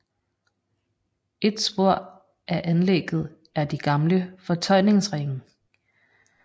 Et spor af anlægget er de gamle fortøjningsringe